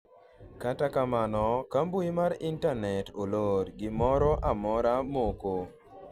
kata kamano, ka mbui mar intanet olor, gimoro amora moko